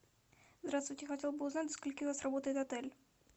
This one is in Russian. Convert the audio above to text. здравствуйте я хотела бы узнать до скольки у вас работает отель